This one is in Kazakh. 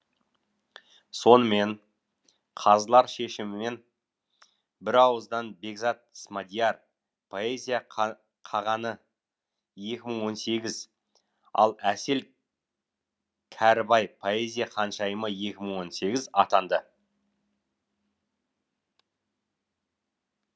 сонымен қазылар шешімімен бірауыздан бекзат смадияр поэзия қағаны екі мың он сегіз ал әсел кәрібай поэзия ханшайымы екі мың он сегіз атанды